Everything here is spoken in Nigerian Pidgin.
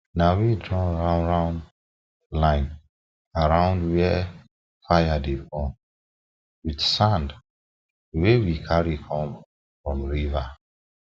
na we draw roundround line around where fire dey burn with sand wey we carry come from river